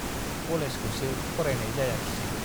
कलेजखौसो फरायनाय जायाखिसै।